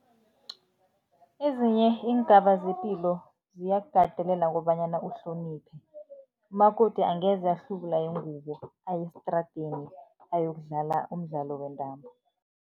Ezinye iingaba zepilo ziyakukatelela kobanyana uhloniphe. Umakoti angeze ahlubula ingubo aye estradeni, ayokudlala umdlalo wentambo.